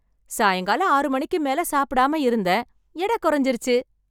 சாயங்காலம் ஆறு மணிக்கு மேல சாப்பிடாம இருந்தேன், எட குறைஞ்சுருச்சு.